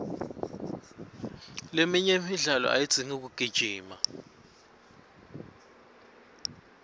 leminye imidlalo ayidzingi kugijima